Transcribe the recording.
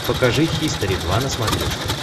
покажи хистори два на смотрешке